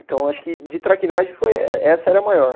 Então, acho que de traquinagem foi eh essa era a maior.